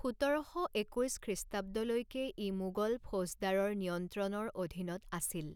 সোতৰশ একৈছ খ্ৰীষ্টাব্দলৈকে ই মোগল ফৌজদাৰৰ নিয়ন্ত্ৰণৰ অধীনত আছিল।